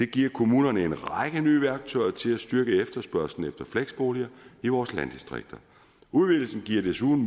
giver kommunerne en række nye værktøjer til at styrke efterspørgslen efter fleksboliger i vores landdistrikter udvidelsen giver desuden